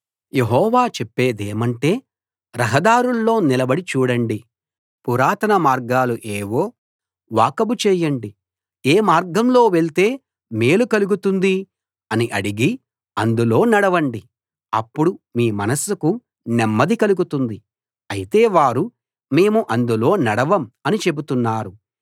యెహోవా చెప్పేదేమంటే రహదారుల్లో నిలబడి చూడండి పురాతన మార్గాలు ఏవో వాకబు చేయండి ఏ మార్గంలో వెళ్తే మేలు కలుగుతుంది అని అడిగి అందులో నడవండి అప్పుడు మీ మనస్సుకు నెమ్మది కలుగుతుంది అయితే వారు మేము అందులో నడవం అని చెబుతున్నారు